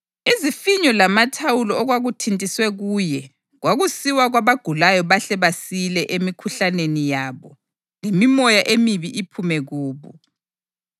izifinyo lamathawulo okwakuthintiswe kuye kwakusiwa kwabagulayo bahle basile emikhuhlaneni yabo lemimoya emibi iphume kubo.